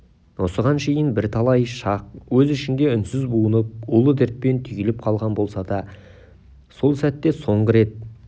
осыған шейін бірталай шақ өз ішінде үнсіз буынып улы дертпен түйіліп қалған болса дәл сол сәтте соңғы рет